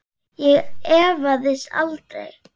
Ég efaðist aldrei.